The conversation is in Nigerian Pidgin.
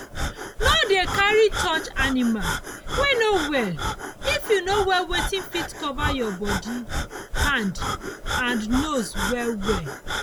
no dey carry touch animal wey no well if you no wear weyth go fit cover your body hand and nose well well